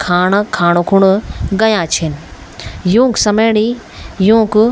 खाणा खाणाकुन गयां छिन युंक समणी युंक --